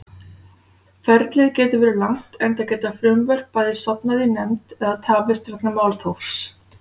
Ferlið getur verið langt enda geta frumvörp bæði sofnað í nefnd eða tafist vegna málþófs.